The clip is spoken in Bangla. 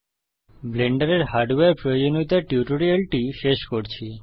ব্লেন্ডারের হার্ডওয়্যার প্রয়োজনীয়তার টিউটোরিয়ালটি শেষ করছি